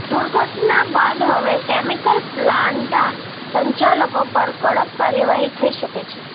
દૂર્ઘટના બાદ હવે કેમિકલ પ્લાન્ટા સંચાલકો પર કડક કાર્યવાહી થઈ શકે છે